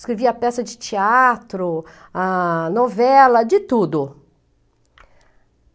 Escrevia peça de teatro, ah, novela, de tudo.